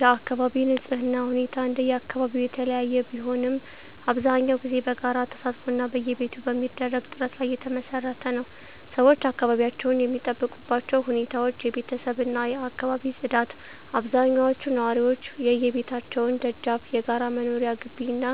የአካባቢ ንፅህና ሁኔታ እንደየአካባቢው የተለያየ ቢሆንም፣ አብዛኛውን ጊዜ በጋራ ተሳትፎ እና በየቤቱ በሚደረግ ጥረት ላይ የተመሰረተ ነው። -ሰዎች አካባቢያቸውን የሚጠብቁባቸው ሁኔታዎች -የቤተሰብ እና የአካባቢ ፅዳት አብዛኞቹ ነዋሪዎች የየቤታቸውን ደጃፍ፣ የጋራ መኖሪያ ግቢ እና